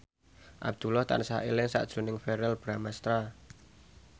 Abdullah tansah eling sakjroning Verrell Bramastra